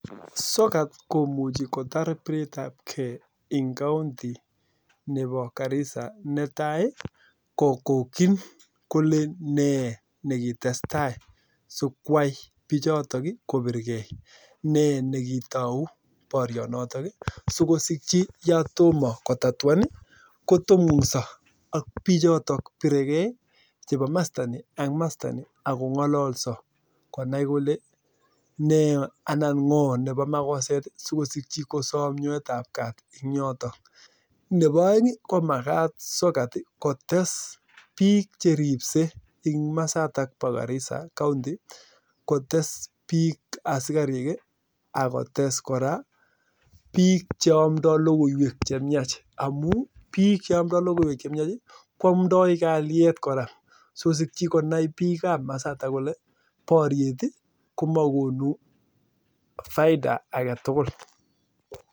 Sokat komuchii kotar biret ab kei eng kaunti neboo garissa netai ii kokokin kolee nee nekitestai sikwai bichotok kobirkei neboo aeng komakat sokat kotes biik cheripsei eng masatak boo garissa ak biik cheamndoi logoywek che mnyach